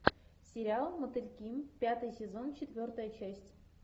сериал мотыльки пятый сезон четвертая часть